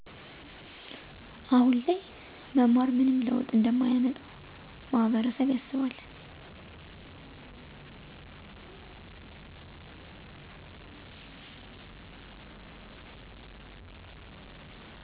አሁን ላይ መማር ምንም ለውጥ እንደማያመጣ ማህበረሰብያስባል